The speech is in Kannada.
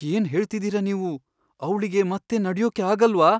ಏನ್ ಹೇಳ್ತಿದೀರ ನೀವು? ಅವ್ಳಿಗೆ ಮತ್ತೆ ನಡ್ಯೋಕೇ ಆಗಲ್ವಾ?